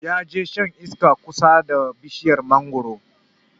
Ya je shan iska kusa da bishiyar mangoro